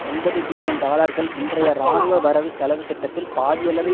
ஒன்பது பில்லியன் டாலர்கள் இன்றைய இராணுவ வரவு செலவுத்திட்டத்தில் பாதி அளவை